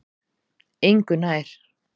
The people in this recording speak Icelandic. Engu nær